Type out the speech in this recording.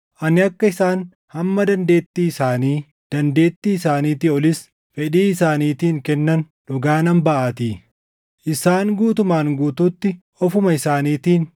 Ani akka isaan hamma dandeettii isaanii, dandeettii isaaniitii olis fedhii isaaniitiin kennan dhugaa nan baʼaatii. Isaan guutumaan guutuutti ofuma isaaniitiin